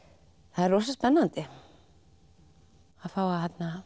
það er rosa spennandi að fá að